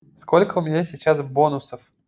сколько у меня сейчас бонусов